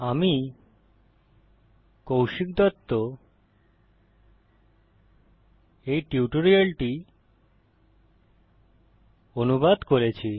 আমি কৌশিক দত্ত এই টিউটোরিয়ালটি অনুবাদ করেছি